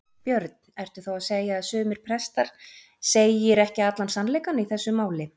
Björn: Ertu þá að segja að sumir prestar segir ekki allan sannleikann í þessu máli?